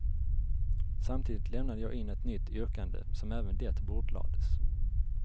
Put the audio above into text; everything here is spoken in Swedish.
Samtidigt lämnade jag in ett nytt yrkande, som även det bordlades.